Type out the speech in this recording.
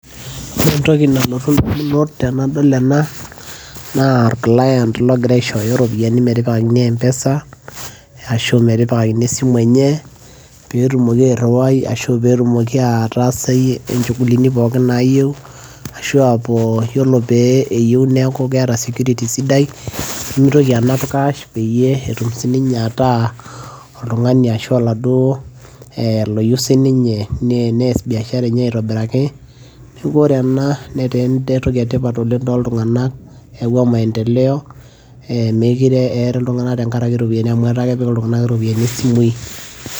ore entoki nalotu damunot tenadol enaa naa or client logira aishooyo iropiyiani metipikakini mpesa ashu aa metipikakini esimu enye pee etumoki airiwai ashu aa petumoki aataasayie inchugulini pookin naayieu ashu aa ore peeku keyieu neeta security sidai, nimitoki anap cash peyie etum sii ninye ataa oltungani ashu oladuoo sii ninye nees biashara enye aitobiraki. neeku ore ena netaa entoki etipat oleng tooltunganak, eyawua maendeleo meekure eri iltunganak oleng tenkaraki iropiyiani amu etaa kepik iltunganak iropiyiani isimui.